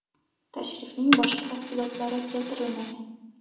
Tashrifning boshqa tafsilotlari keltirilmagan.